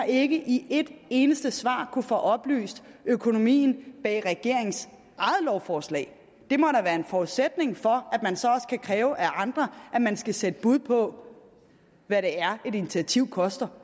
ikke i et eneste svar kunnet få oplyst økonomien bag regeringens eget lovforslag det må da være en forudsætning for at man så også kan kræve af andre at man skal sætte bud på hvad et initiativ koster